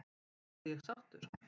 Er ég sáttur?